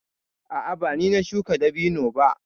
A'a, ba ni na shuka dabino ba.